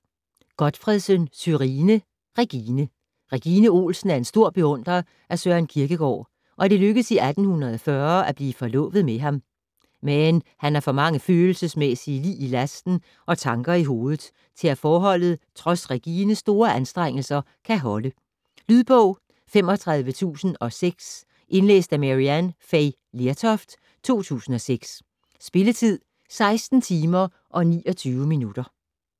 Gotfredsen, Sørine: Regine Regine Olsen er en stor beundrer af Søren Kierkegaard, og det lykkes i 1840 at blive forlovet med ham, men han har for mange følelsesmæssige lig i lasten og tanker i hovedet til at forholdet trods Regines store anstrengelser kan holde. Lydbog 35006 Indlæst af Maryann Fay Lertoft, 2006. Spilletid: 16 timer, 29 minutter.